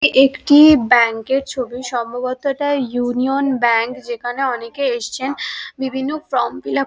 একটি ব্যাঙ্ক এর ছবি সম্ভবত এটা ইউনিয়ন ব্যাঙ্ক যেখানে অনেকে এসছেন বিভিন্ন ফর্ম ফিল আপ --